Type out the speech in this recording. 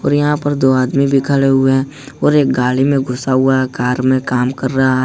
और यहां पर दो आदमी भी खड़े हुए हैं और एक गाड़ी में घुसा हुआ है कार मे काम कर रहा है।